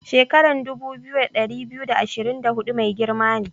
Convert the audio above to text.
Shekaran dubu biyu, da ɗari biyu da ashirin da hudu mai girma ne.